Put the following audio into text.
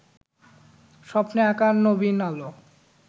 স্বপ্নে আঁকা নবীন আলো